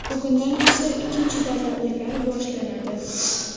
Bugundan esa ikkinchi davra o‘yinlari boshlanadi.